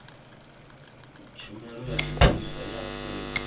tshumelo ya tshipholisa ya afrika